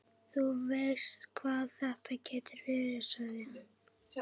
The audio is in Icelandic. Þú veist hvað þetta getur verið, sagði hann.